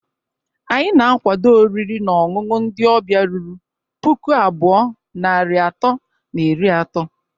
Anyi na-akwado oriri na ọṅụṅụ ndi ọbịa ruru puku abụọ, narị atọ na iri atọ